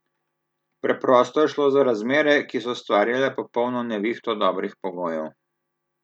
Preprosto je šlo za razmere, ki so ustvarile popolno nevihto dobrih pogojev.